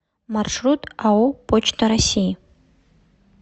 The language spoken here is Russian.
маршрут ао почта россии